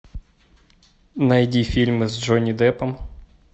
найди фильмы с джонни деппом